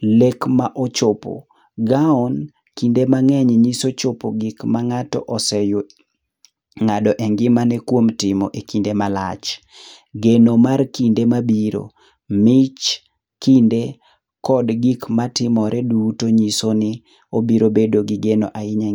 Lek ma ochopo. Gown kinde mang'eny nyiso chopo gik mang'ato ng'ado e ngimane kuom timo e kinde malach. Geno mar kinde mabiro. Mich kinde kod gik matimore duto nyiso ni obiro bedo gi geno ahinya e .